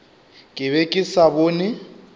ke be ke sa bone